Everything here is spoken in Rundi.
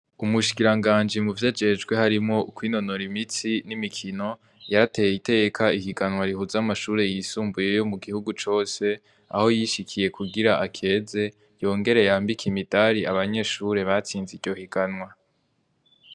Umushikirangaji muvyo ajejwe harimwo kwinonora imitsi nimikino yarateye iteka ihiganwa rihuza amashure yisumbuye yo mugihungu cose aho yishikiye kugira ngo akeze yongere yambike imidari abanyeshure batsize iryo higanwa